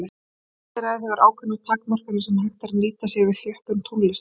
Mannseyrað hefur ákveðnar takmarkanir sem hægt er að nýta sér við þjöppun tónlistar.